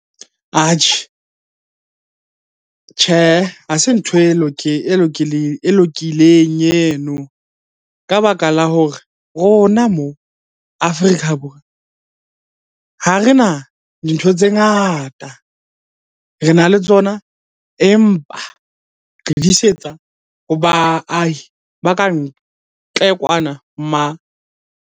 Atjhe, Tjhehe. Ha se ntho e lokileng eno ka baka la hore rona moo Afrika Borwa, ha re na dintho tse ngata. Re na le tsona, empa re di isetsa ho baahi ba ka ntle kwana .